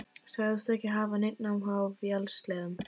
Sagðist ekki hafa neinn áhuga á vélsleðum.